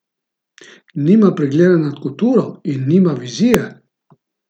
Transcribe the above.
Nima pregleda nad kulturo in nima vizije?